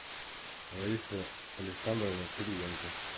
раиса александровна кириенко